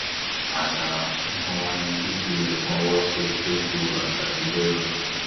àṣà tuntun wa ni fífi ẹbùn ọwọ ṣe tó ju àṣà àtijọ lọ